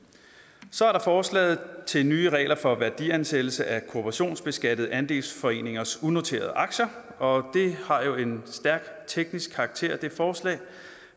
så er der forslaget til nye regler for værdiansættelse af kooperationsbeskattede andelsforeningers unoterede aktier og det har jo en stærkt teknisk karakter